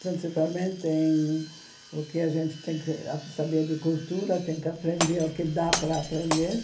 Principalmente em o que a gente tem que saber de cultura, tem que aprender o que dá para aprender.